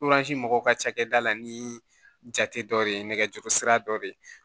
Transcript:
mɔgɔw ka cakɛda la ni jate dɔ de ye nɛgɛjuru sira dɔ ye